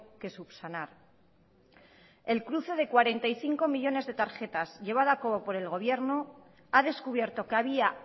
que subsanar el cruce cuarenta y cinco millónes de tarjetas llevada a cabo por el gobierno ha descubierto que había